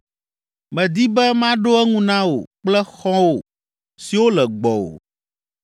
“Medi be maɖo eŋu na wò kple xɔ̃wò siwo le gbɔwò.